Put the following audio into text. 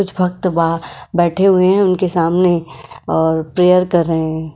कुछ भक्त बाहर बैठे हुए हैं उनके सामने और प्रेयर कर रहे हैं।